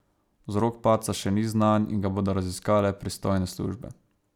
Vzrok padca še ni znan in ga bodo raziskale pristojne službe.